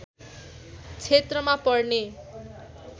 क्षेत्रमा पर्ने